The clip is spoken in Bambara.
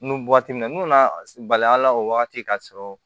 Nu waati min na n'u nana bali a la o wagati ka sɔrɔ